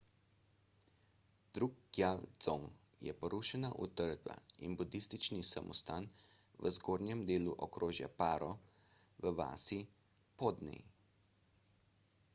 drukgyal dzong je porušena utrdba in budistični samostan v zgornjem delu okrožja paro v vasi phodney